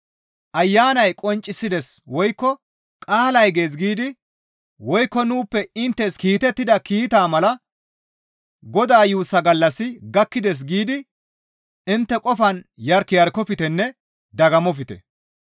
Ayanay qonccisides woykko qaalay gees giidi woykko nuuppe inttes kiitettida kiitaa mala, «Godaa yuussaa gallassi gakkides» giidi intte qofan yark yarkoftenne dagammofte.